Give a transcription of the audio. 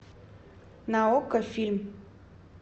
на окко фильм